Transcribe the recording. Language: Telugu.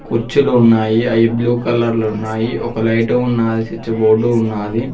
కుర్చీలు ఉన్నాయి అయి బ్లూ కలర్ లో ఉన్నాయి ఒక లైటు ఉన్నాది స్విచ్ బోర్డు ఉన్నాది.